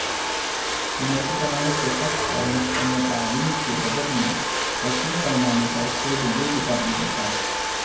محکمہ صحت اور محکمہ تعلیم کے بجٹ میں وسیع پیمانے پر خرد برد کا انکشاف